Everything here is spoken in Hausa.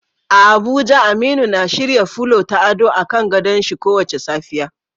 A Abuja Aminu na shirya fulo na ado a kan gadon shin kowace safiya.